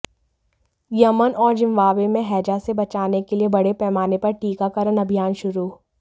Yemen और Zimbabwe में हैजा से बचाने के लिए बड़े पैमाने पर टीकाकरण अभियान शुरू